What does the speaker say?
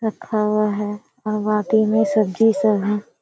रखा हुआ है और बाटी में सब्जी सब है।